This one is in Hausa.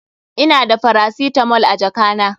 Ina da faracitamol a jaka na.